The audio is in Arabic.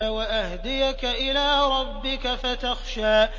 وَأَهْدِيَكَ إِلَىٰ رَبِّكَ فَتَخْشَىٰ